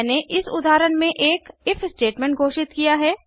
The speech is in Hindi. मैंने इस उदाहरण में एक इफ स्टेटमेंट घोषित किया है